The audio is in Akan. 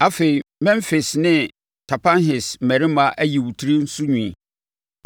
Afei, Memfis ne Tapanhes mmarima ayi wo tiri so nwi.